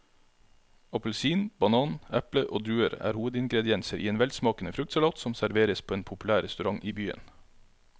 Appelsin, banan, eple og druer er hovedingredienser i en velsmakende fruktsalat som serveres på en populær restaurant i byen.